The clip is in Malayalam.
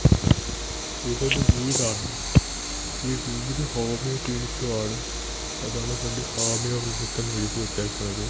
ഇതൊരു വീടാണ് ഈ വീട് ഹോമിയോ ക്ലിനിക്കും ആണ് അതാണ് ഫ്രണ്ടിൽ ഹോമിയോ ക്ലിനിക് എന്ന് എഴുതി വെച്ചേക്കണത്.